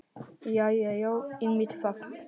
Jæja já, einmitt það.